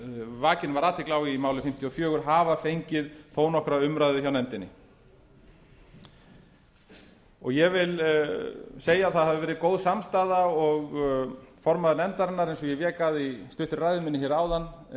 vakin var athygli á í máli númer fimmtíu og fjögur hafa fengið þó nokkra umræðu hjá nefndinni ég vil segja að það hafi gerð góð samstaða og formaður nefndarinnar eins og ég vék að í stuttri ræðu minni áðan